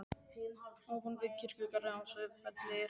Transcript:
Ofan við kirkjugarðinn á Sauðafelli er hóll.